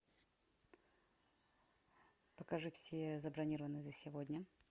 покажи все забронированные за сегодня